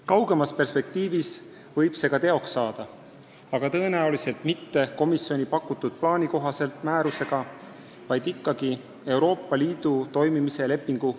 Kaugemas perspektiivis võib see ka teoks saada, aga tõenäoliselt mitte komisjoni pakutud plaani kohaselt määruse alusel, vaid muutes Euroopa Liidu toimimise lepingut.